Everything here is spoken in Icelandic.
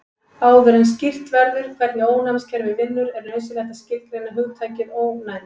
Áður en skýrt verður út hvernig ónæmiskerfið vinnur er nauðsynlegt að skilgreina hugtakið ónæmi.